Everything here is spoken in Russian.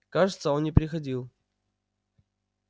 кажется он не переходил